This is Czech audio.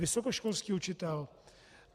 Vysokoškolský učitel.